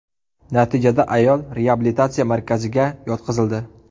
Natijada ayol reabilitatsiya markaziga yotqizildi.